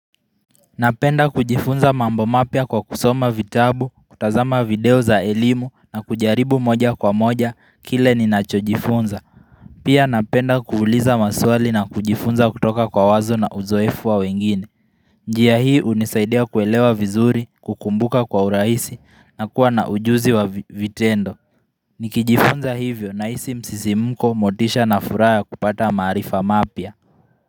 Napenda kujifunza mambo mapya kwa kusoma vitabu, kutazama video za elimu na kujaribu moja kwa moja kile ninachojifunza. Pia napenda kuuliza maswali na kujifunza kutoka kwa wazo na uzoefu wa wengine. Njia hii hunisaidia kuelewa vizuri, kukumbuka kwa urahisi, na kuwa na ujuzi wa vitendo. Nikijifunza hivyo nahisi msisimko motisha na furaha ya kupata maarifa mapya.